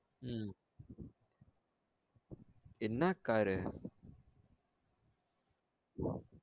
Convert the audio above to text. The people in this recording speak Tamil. உம் என்ன car உ